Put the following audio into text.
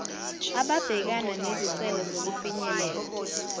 ababhekana nezicelo zokufinyelela